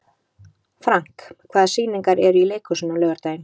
Frank, hvaða sýningar eru í leikhúsinu á laugardaginn?